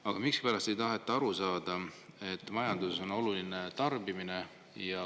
Aga miskipärast ei taheta aru saada, et majanduses on oluline tarbimine.